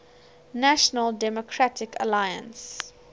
national democratic alliance